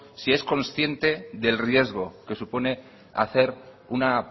si es consciente del riesgo que supone hacer una